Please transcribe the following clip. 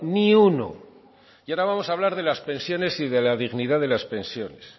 ni uno y ahora vamos a hablar de las pensiones y de la dignidad de las pensiones